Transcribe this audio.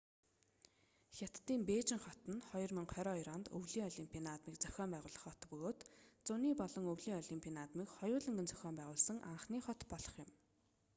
хятадын бээжин хот нь 2022 онд өвлийн олимпийн наадмыг зохион байгуулах хот бөгөөд зуны болон өвлийн олимпийн наадмыг хоёуланг нь зохион байгуулсан анхны хот болох юм